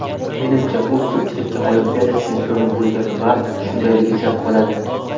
Menimcha, u ko‘pchilikka Olimpiada chempioni bo‘lgan va shundayligicha qoladi.